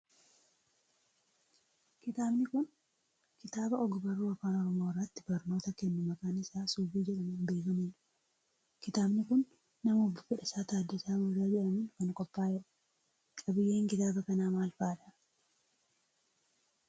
Kitaabni kun, kitaaba og barruu afaan Oromoo irratti barnoota kennu maqaan isaa Subii jedhamuun beekamuu dha. Kitaabni kun, nama Obbo Fedhasaa Taaddasaa Guutaa jedhamuun kan qophaa'e dha. Qabiiyyeen kitaaba kanaa maal faa dha?